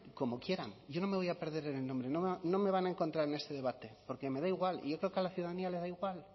como quieran yo no me voy a perder en el nombre no me van a encontrar en ese debate porque me da igual y yo creo que a la ciudadanía le da igual